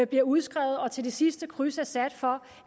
bliver udskrevet og til det sidste kryds er sat for